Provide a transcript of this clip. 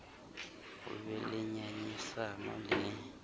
ho be le ngangisano le